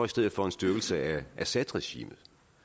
stedet for en styrkelse af assadregimet